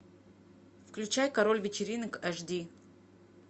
включай король вечеринок аш ди